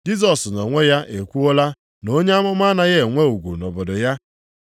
(Jisọs nʼonwe ya ekwuola na onye amụma anaghị enwe ugwu nʼobodo ya.)